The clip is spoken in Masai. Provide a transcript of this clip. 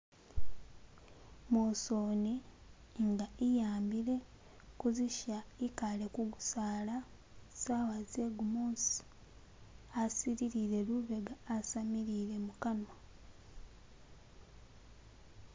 Mosoni nga iyambile kuzisha kale kugusaala sawa zegumusi asililile lubega asamilile mukanwa.